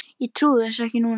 Ég trúi þessu nú ekki!